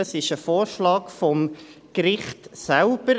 Dies ist ein Vorschlag des Gerichts selbst.